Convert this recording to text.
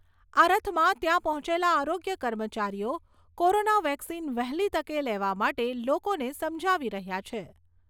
આ રથમાં ત્યાં પહોંચેલા આરોગ્ય કર્મચારીઓ કોરોના વેક્સિન વહેલી તકે લેવા માટે લોકોને સમજાવી રહ્યા છે.